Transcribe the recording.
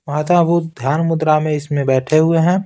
माता बुद्ध ध्यान मुद्रा में इसमें बैठे हुए हैं।